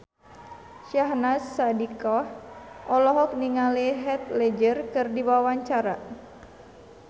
Syahnaz Sadiqah olohok ningali Heath Ledger keur diwawancara